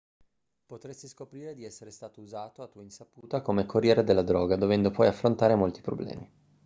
potresti scoprire di essere stato usato a tua insaputa come corriere della droga dovendo poi affrontare molti problemi